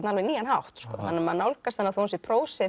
alveg nýjan hátt þannig að maður nálgast hana þó hún sé prósi